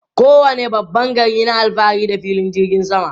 Kowane babban gari na alfahari da filin jirgin sama.